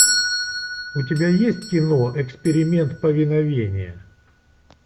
у тебя есть кино эксперимент повиновение